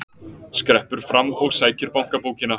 Skreppur fram og sækir bankabókina.